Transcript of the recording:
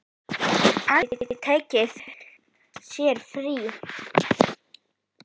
Aldrei tekið sér frí.